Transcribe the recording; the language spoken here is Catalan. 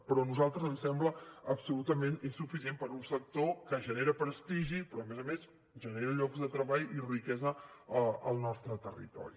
però a nosaltres ens sembla absolutament insuficient per a un sector que genera prestigi però a més a més genera llocs de treball i riquesa al nostre territori